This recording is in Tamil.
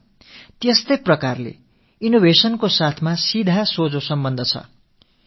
இதே போல புதுமைகள் படைத்தலோடு இன்க்யூபேஷன் centreம் நேரடியாக தொடர்பு உடையதாகிறது